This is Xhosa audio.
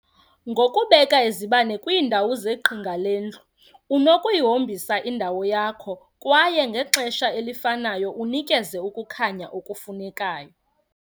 Ngokubeka izibane kwiindawo zeqhinga lendlu, unokuyihobisa indawo yakho kwaye ngexesha elifanayo unikeze ukukhanya okufunekayo.